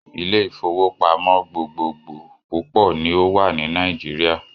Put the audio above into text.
Ilé-ìfowópamọ́ gbogbogboò púpọ̀ ni ó wà ní Nàíjíríà.